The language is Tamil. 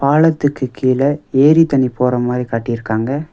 பாலத்துக்கு கீழ ஏரி தண்ணி போற மாரி காட்டிருக்காங்க.